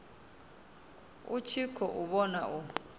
a tshi khou vhona u